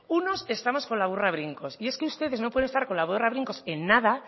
unos estamos con la burra a brincos y es que ustedes no pueden estar con la burra a brincos en nada